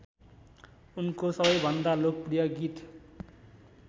उनको सबैभन्दा लोकप्रिय गीत